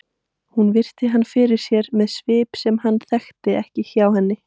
Hún virti hann fyrir sér með svip sem hann þekkti ekki hjá henni.